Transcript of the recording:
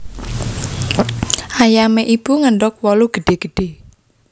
Ayame Ibu ngendog wolu gedhe gedhe